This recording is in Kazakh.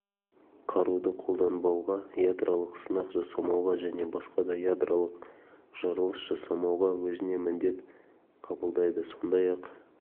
қаруды қолданбауға ядролық сынақ жасамауға және басқа да ядролық жарылыс жасамауға өзіне міндет қабылдайды сондай-ақ